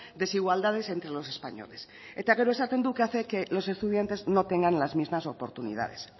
desigualdades entre los españoles eta gero esaten du que hace que los estudiantes no tengan las mismas oportunidades